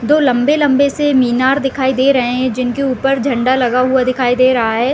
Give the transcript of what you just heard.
दो लम्बे-लम्बे से मीनार दिखाई दे रहे हैं जिनके ऊपर झंडा लगा हुआ दिखाई दे रहा है ।